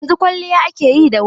Yanzu kwalliya ake yi da wuri.